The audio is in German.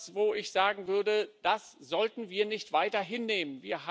Und das ist etwas, wo ich sagen würde Das sollten wir nicht weiter hinnehmen.